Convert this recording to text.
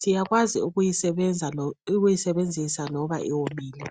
siyakwazi ukuyi sebenzisa loba iwomile